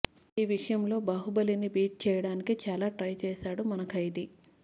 ఈ విషయంలో బాహుబలి ని బీట్ చేయడానికి చాలా ట్రై చేసాడు మన ఖైదీ